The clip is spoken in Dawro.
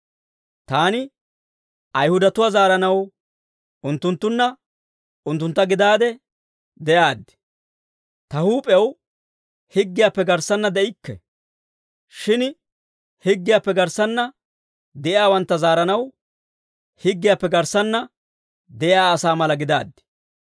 Taani Ayihudatuwaa zaaranaw unttunttunna unttuntta gidaade de'aaddi. Ta huup'ew higgiyaappe garssanna de'ikke. Shin higgiyaappe garssanna de'iyaawantta zaaranaw higgiyaappe garssanna de'iyaa asaa mala gidaaddi.